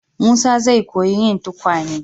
Musa zai koyi yin tukwane.